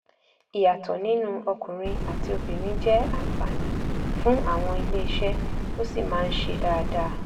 ìyàtọ̀ nínú ọkùnrin àti obìnrin jẹ́ àǹfààní fún àwọn iléeṣẹ́ ó sì máa ń ṣe dáadáa.